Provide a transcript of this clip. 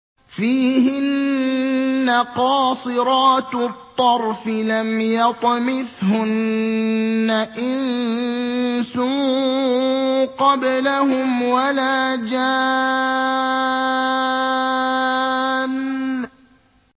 فِيهِنَّ قَاصِرَاتُ الطَّرْفِ لَمْ يَطْمِثْهُنَّ إِنسٌ قَبْلَهُمْ وَلَا جَانٌّ